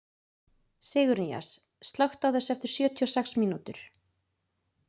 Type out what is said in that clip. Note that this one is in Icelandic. Sigurnýjas, slökktu á þessu eftir sjötíu og sex mínútur.